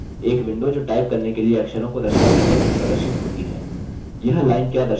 एक विंडो जो टाइप करने के लिए अक्षरों को दर्शाती है प्रदर्शित होती है